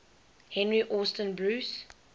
henry austin bruce